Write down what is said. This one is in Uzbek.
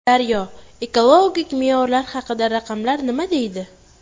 Daryo: Ekologik me’yorlar haqida raqamlar nima deydi?